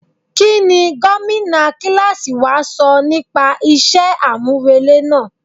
Kí ni Gómìnà kíláàsì wa sọ nípa iṣẹ́ àmúrelé náà?